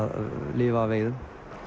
lifa af veiðum